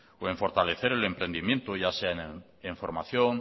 o en fortalecer el entendimiento ya sea en formación